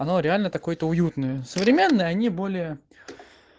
оно реально какое-то уютное современные они более